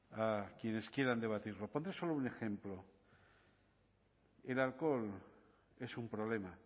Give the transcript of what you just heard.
a quienes quieran debatirlo pondré solo un ejemplo el alcohol es un problema